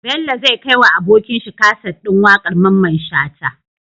Bello zai kai wa abokin shi kaset din waƙar mamman shata